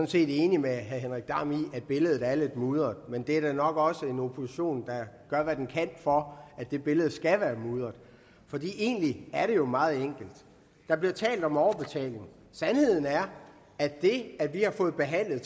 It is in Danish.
set enig med herre henrik dam kristensen i at billedet er lidt mudret men der er nok også en opposition der gør hvad den kan for at det billede skal være mudret for egentlig er det jo meget enkelt der bliver talt om overbetaling sandheden er at det at vi har fået behandlet